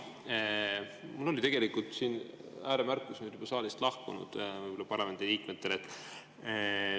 Mul oli tegelikult ääremärkus nüüd küll saalist lahkunud parlamendiliikmetele.